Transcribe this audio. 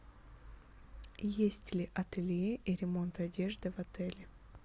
есть ли ателье и ремонт одежды в отеле